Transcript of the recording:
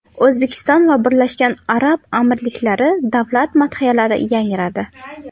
O‘zbekiston va Birlashgan Arab Amirliklari davlat madhiyalari yangradi.